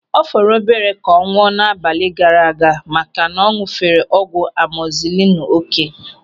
Ọ fọrọ obere ka ọ nwụọ n'abalị gaara aga maka na ọ ñụ̀fere ọgwụ amozilinu oké.